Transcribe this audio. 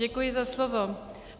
Děkuji za slovo.